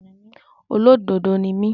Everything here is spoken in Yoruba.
Olódodo ni mí.